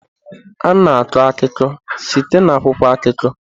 A na-akọ akụkọ site na akwụkwọ akụkọ.